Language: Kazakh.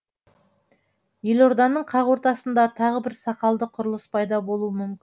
елорданың қақ ортасында тағы бір сақалды құрылыс пайда болуы мүмкін